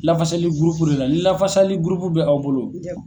Lafasali gurupu de la ni lafasali gurupu bɛ aw bolo.